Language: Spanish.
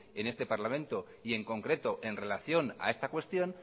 en este parlamento y en concreto en relación a esta cuestión